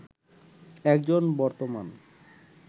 একজন বর্তমান